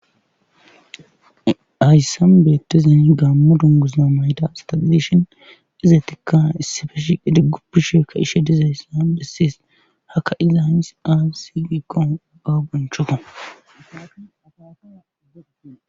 hayssan beettizay gaammo dungusza mayida asata dishin izetikka issife shiidi guppisheekka ishe dizaysa besses hakka iza ins aassi giikko awu bonchokko.